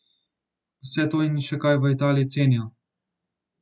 Vse to in še kaj v Italiji cenijo.